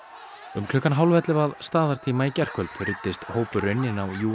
um klukkan hálfellefu að staðartíma í gærkvöld ruddist hópurinn inn á